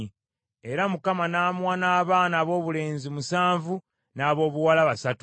Era Mukama n’amuwa n’abaana aboobulenzi musanvu, n’aboobuwala basatu.